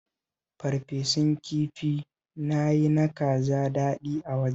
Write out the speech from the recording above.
Farfesun kifi na yi na kaza daɗi a wajena